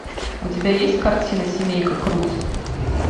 у тебя есть картина семейка крудс